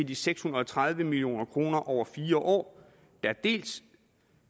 de seks hundrede og tredive million kroner over fire år der dels